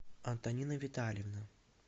антонина витальевна